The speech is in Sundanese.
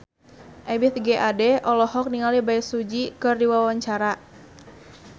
Ebith G. Ade olohok ningali Bae Su Ji keur diwawancara